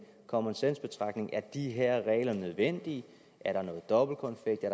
common sense betragtning at de her regler nødvendige er der noget dobbeltkonfekt er